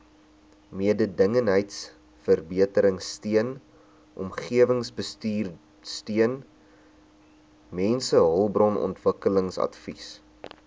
mededingendheidsverbeteringsteun omgewingsbestuursteun mensehulpbronontwikkelingsadvies